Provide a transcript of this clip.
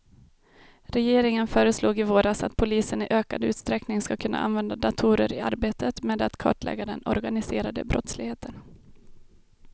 Regeringen föreslog i våras att polisen i ökad utsträckning ska kunna använda datorer i arbetet med att kartlägga den organiserade brottsligheten.